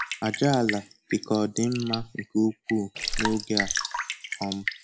Àjàala dịka ọ dị mma nke ukwuu n'oge a. um